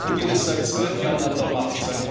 Putin ist seit 12 Jahren an der Macht.